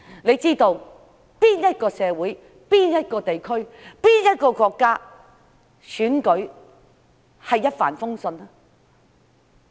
哪一個社會、哪一個地區、哪一個國家的選舉會是一帆風順的？